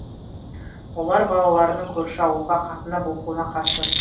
олар балаларының көрші ауылға қатынап оқуына қарсы